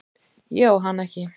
Ég á hana ekki.